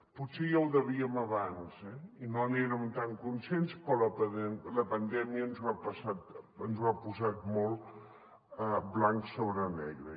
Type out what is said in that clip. potser ja ho vèiem abans eh i no n’érem tan conscients però la pandèmia ens ho ha posat molt blanc sobre negre